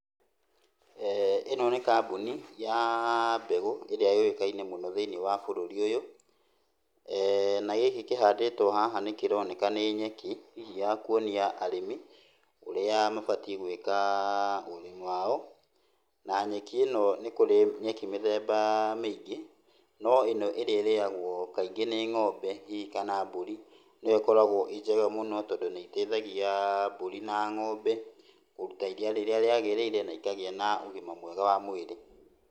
ĩno nĩ kambuni ya mbegũ ĩrĩa yũĩkaine mũno thĩinĩ wa bũrũri ũyũ. Na gĩkĩ kĩhandĩtwo haha nĩ kĩroneka nĩ nyeki, hihi ya kuonia arĩmi ũrĩa mabatiĩ gũĩka ũrĩmi wao. Na nyeki ĩno nĩ kũrĩ nyeki mĩthemba mĩingĩ, no ĩno ĩrĩa ĩrĩagwo kaingĩ nĩ ng'ombe, hihi kana mbũri. Nĩyo ĩkoragwo ĩĩ njega mũno, tondũ nĩ ĩteithagia mbũri na ng'ombe kũruta iria rĩrĩa rĩagĩrĩre na ĩkagĩa na ũgima mwega wa mwĩrĩ.